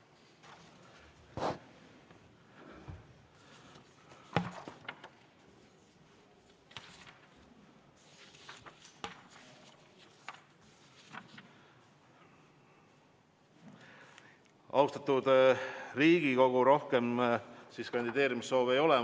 Austatud Riigikogu, rohkem kandideerimissoovi ei ole.